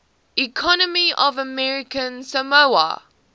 economy of american samoa